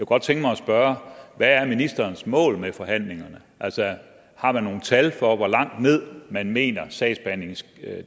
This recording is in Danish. godt tænke mig at spørge hvad er ministerens mål med forhandlingerne altså har man nogle tal for hvor langt ned man mener sagsbehandlingstiden